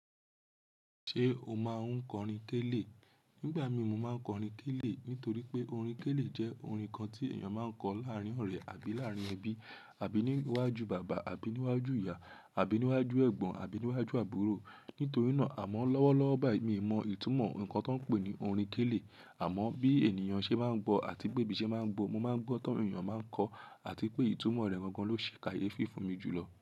Ṣé o máa ń kọ orin kélé? Nígbà mi mo máa ń kọ orin kélé nítorí pé orin kélé jẹ́ orin kan tí èèyàn máa ń kọ láàárín ọ̀rẹ́ àbí láàárín ẹbí, àbí níwájú bàbá, àbí níwájú ìyá, àbí níwájú ẹ̀gbọ́n, àbí níwájú àbúrò. Nítorí náà, àmọ́ lọ́wọ́lọ́wọ́ báyìí mi mọ ìtumọ̀ ohun kan tó ń pè ní orin kélé. Àmọ́ bí ènìyàn ṣe máa ń gbọ̀ àti pé bí ṣe máa ń gbo, mo máa ń gbọ́ tí àwọn èèyàn máa ń kọ àti pé ìtumọ̀ rẹ̀ gangan ló ṣe kàyéefi fun mi jùlọ.